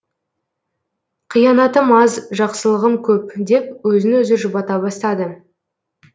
қиянатым аз жақсылығым көп деп өзін өзі жұбата бастады